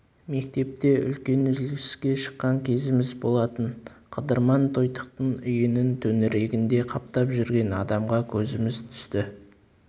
мектепте үлкен үзіліске шыққан кезіміз болатын қыдырман тойтықтың үйінің төңірегінде қаптап жүрген адамға көзіміз түсті